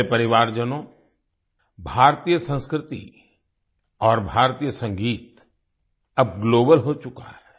मेरे परिवारजनों भारतीय संस्कृति और भारतीय संगीत अब ग्लोबल हो चुका है